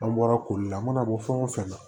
An bɔra koli la a mana bɔ fɛn o fɛn na